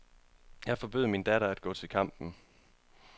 Jeg forbød min datter at gå til kampen.